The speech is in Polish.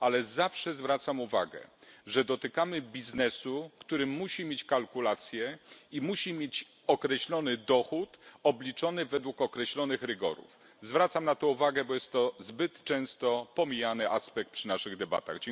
Ale zawsze zwracam uwagę na to, że dotykamy biznesu, który musi mieć kalkulacje i musi mieć określony dochód obliczony według określonych rygorów. Zwracam na to uwagę, bo jest to aspekt zbyt często pomijany w naszych debatach.